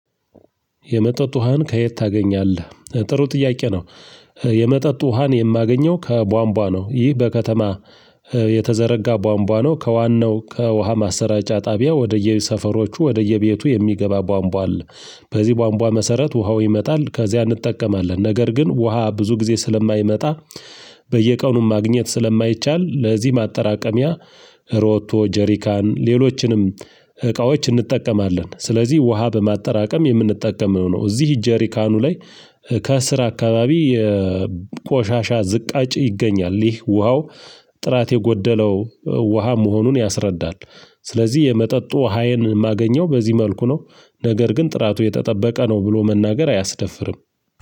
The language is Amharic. የመጠጥ ውሃን ከየት ታገኛለህ? ጥሩ ጥያቄ ነው። የመጠጥ ውሃን የማገኘው ከቧንቧ ነው ይህ በከተማ የተዘረጋ ቧንቧ ነው ከዋናው ከውሃ ማሰራጫ ጣቢያ ወደየሰፈሮቹ ወደየ ቤቱ የሚገባ ቧንቧ አለ። በዚህ ቧንቧ መሰረት ውሃው ይመጣል ከዚያ እንጠቀማለን ነገር ግን ውሃ ብዙ ጊዜ ስለማይመጣ። በየቀኑም ማግኘት ስለማይቻል ለዚህ ማጠራቀሚያ ሮቶ ጀሪካን ሌሎችንም እቃዎች እንጠቀማለን። ስለዚህ ውሃ በማጠራቀም የምንጠቀመው ነው። እዚህ ጀሪካኑ ላይ ከስር አካባቢ የቆሻሻ ዝቅአጭ ይገኛል ይህ ውሃው ጥራት የጎደለው ውሃ መሆኑን ያስረዳል። ስለዚህ የመጠጡ ዉሀዬን ማገኘው በዚህ መልኩ ነው። ነገር ግን ጥራቱ የተጠበቀ ነው ብሎ መናገር አያስደፍርም።